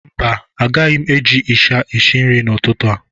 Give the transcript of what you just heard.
Mba anyị agaghị eji ịsha esi nri n'ụtụtụ a.